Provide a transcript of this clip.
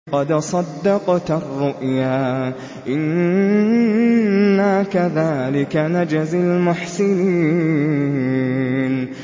قَدْ صَدَّقْتَ الرُّؤْيَا ۚ إِنَّا كَذَٰلِكَ نَجْزِي الْمُحْسِنِينَ